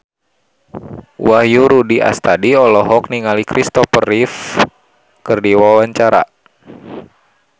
Wahyu Rudi Astadi olohok ningali Kristopher Reeve keur diwawancara